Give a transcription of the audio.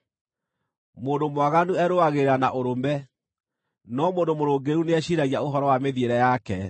Mũndũ mwaganu erũagĩrĩra na ũrũme, no mũndũ mũrũngĩrĩru nĩeciiragia ũhoro wa mĩthiĩre yake.